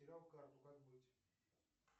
потерял карту как быть